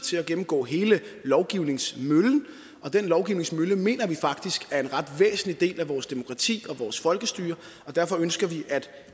til at gennemgå hele lovgivningsmøllen og den lovgivningsmølle mener vi faktisk er en ret væsentlig del af vores demokrati og vores folkestyre derfor ønsker vi at